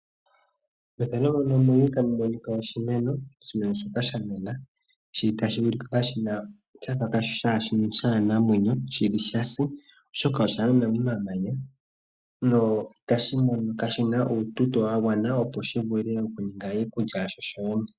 Oshimeno shoka sha mena tashi ulike sha fa kaa shi na omwenyo, ano sha sa oshoka osha mena momamanya no itashi monika shi na uututo wa gwana opo shi vule okuninga iikulya yasho shoshene.